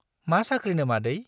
मा साख्रिनो मादै ?